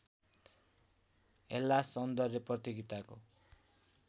हेल्लास सौन्दर्य प्रतियोगिताको